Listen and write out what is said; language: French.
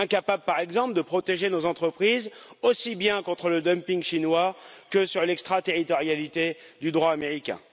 Incapable, par exemple, de protéger nos entreprises aussi bien contre le dumping chinois que contre l'extra territorialité du droit américain.